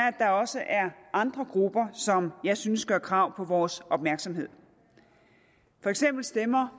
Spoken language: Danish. at der også er andre grupper som jeg synes gør krav på vores opmærksomhed for eksempel stemmer